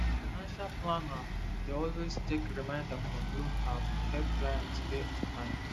financial planner dey always check reminder from loan apps to help client pay on time